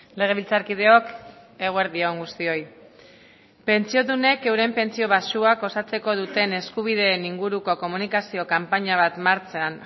legebiltzarkideok eguerdi on guztioi pentsiodunek euren pentsio baxuak osatzeko duten eskubideen inguruko komunikazio kanpaina bat martxan